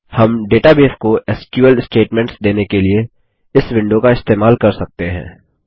हम डेटाबेस को SQL statements देने के लिए इस विंडो का इस्तेमाल कर सकते हैं